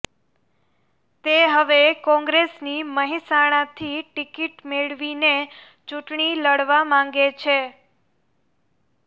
તે હવે કોંગ્રેસની મહેસાણાથી ટિકિટ મેળવીને ચૂંટણી લડવા માંગે છે